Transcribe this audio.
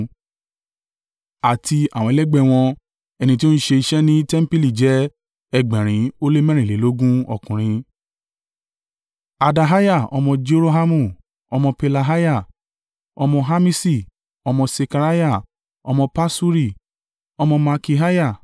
àti àwọn ẹlẹgbẹ́ wọn, ẹni tí ó ń ṣe iṣẹ́ ní tẹmpili jẹ́ ẹgbẹ̀rin ó lé mẹ́rìnlélógún (822) ọkùnrin: Adaiah ọmọ Jerohamu, ọmọ Pelaiah, ọmọ Amisi, ọmọ Sekariah, ọmọ Paṣuri, ọmọ Malkiah,